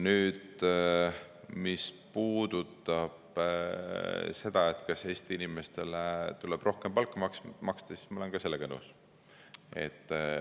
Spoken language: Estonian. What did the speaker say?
Nüüd, mis puudutab seda, et Eesti inimestele tuleb rohkem palka maksta, siis ma olen ka sellega nõus.